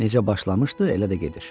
Necə başlamışdı, elə də gedir.